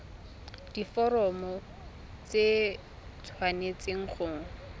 diforomo tse di tshwanesteng go